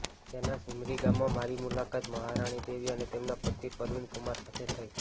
ત્યાંના સિમરી ગામમાં મારી મુલાકાત મહારાનીદેવી અને તેમના પતિ પરવીનકુમાર સાથે થઈ